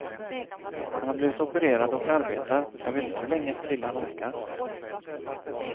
Han har blivit opererad och arbetar, men jag vet inte hur länge till han orkar.